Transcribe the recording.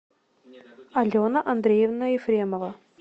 алена андреевна ефремова